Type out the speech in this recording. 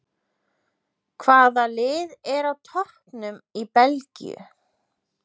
Hvaða lið er á toppnum í Belgíu?